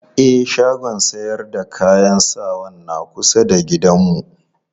E, shagon sayar da kayan sawan na kusa da gidanmu.